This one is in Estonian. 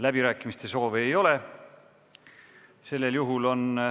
Läbirääkimiste soovi ei ole.